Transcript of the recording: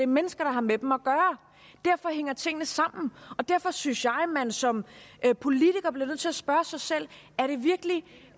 mennesker der har med dem at gøre derfor hænger tingene sammen og derfor synes jeg at man som politiker bliver nødt til at spørge sig selv er det virkelig